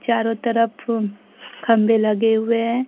चारों तरफ फोन खंभे लगे हुए हैं।